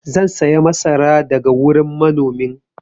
zan saya masara daga wurin manomin